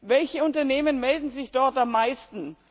Welche Unternehmen melden sich dort am meisten?